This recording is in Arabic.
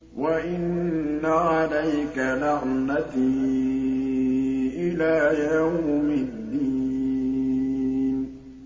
وَإِنَّ عَلَيْكَ لَعْنَتِي إِلَىٰ يَوْمِ الدِّينِ